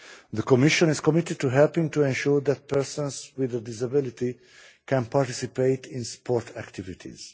The Commission is committed to helping to ensure that persons with a disability can participate in sport activities.